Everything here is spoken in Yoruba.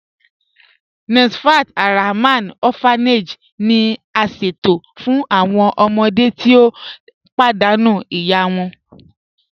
Nafas Alrahman Orphanage ni a ṣẹto fun awọn ọmọde ti o padànú iya wọn.